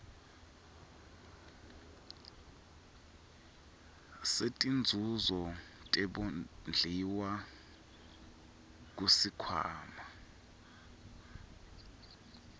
setinzuzo tebondliwa kusikhwama